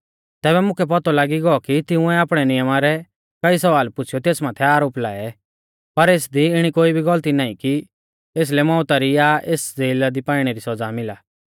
तैबै मुकै पौतौ लागी गौ कि तिंउऐ आपणै नियमा रै कई स्वाल पुछ़ीयौ तेस माथै आरोप लाऐ पर एसदी इणी कोई भी गलती नाईं कि एसलै मौउता री या एस ज़ेला दी पाइणै री सौज़ा मिला